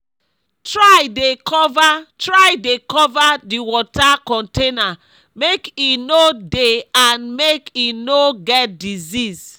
try dey cover try dey cover d water container make e no dey and make e no get disease